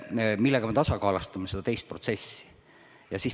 Selle kõigega me tasakaalustame seda teist protsessi.